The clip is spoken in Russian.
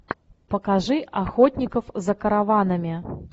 покажи охотников за караванами